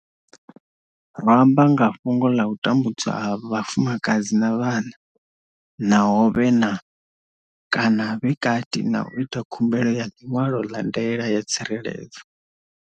Ro amba nga fhungo ḽa u tambudzwa ha vhafumakadzi na vhana naho vhe na, kana vhe kati na u ita khumbelo ya ḽiṅwalo ḽa ndaela ya tsireledzo.